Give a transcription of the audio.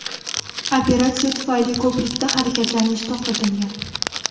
Operatsiya tufayli ko‘prikda harakatlanish to‘xtatilgan.